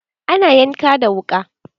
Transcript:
Ana yanka da wuka.